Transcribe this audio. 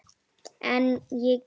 En ég geri það ekki.